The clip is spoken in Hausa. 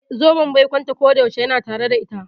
Eh, zoben baikonta kodayaushe yana tare da ita.